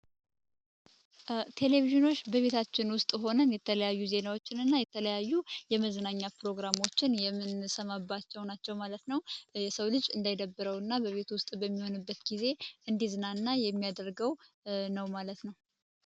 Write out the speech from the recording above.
ቴሌቪዥኖች በቤታችን ውስጥ ሆነን የተለያዩ ዜናዎችን እና የተለያዩ የመዝናኛ ፕሮግራሞችን የምንስማማባቸው ናቸው ማለት ነው። የሰው ልጅ እንዳይደብረውና በቤት ውስጥ በሚሆንበት ጊዜ እንዲዝናና የሚያደርገው ነው ማለት ነው።